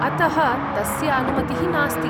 अतः तस्य अनुमतिः नास्ति।